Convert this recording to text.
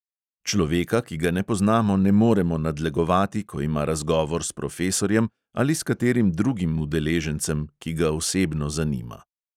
Človeka, ki ga ne poznamo, ne moremo nadlegovati, ko ima razgovor s profesorjem ali s katerim drugim udeležencem, ki ga osebno zanima.